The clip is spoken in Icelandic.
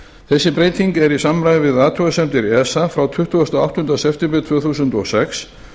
þessi breyting er í samræmi við athugasemdir esa frá tuttugasta og áttunda september tvö þúsund og sex